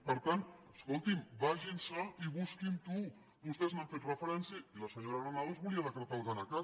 per tant escol·tin·me vagin i busquin·ho vostès hi han fet referèn·cia i la senyora granados volia decretar el gana cat